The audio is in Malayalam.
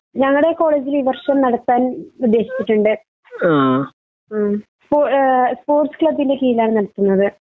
ഞങ്ങടെ കോളേജ് ൽ ഈ വർഷം നടത്താൻ ഉദ്ദേശിച്ചിട്ടുണ്ട് ഉം ഇപ്പൊ ഏഹ് സ്പോർട്സ് ക്ലബ് ന്റെ കിഴിലാണ് നടത്തുന്നത്